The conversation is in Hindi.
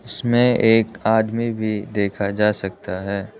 इसमें एक आदमी भी देखा जा सकता है।